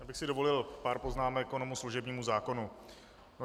Já bych si dovolil pár poznámek ke služebnímu zákonu.